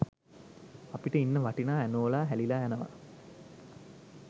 අපිට ඉන්න වටිනා ඇනෝලා හැලිලා යනවා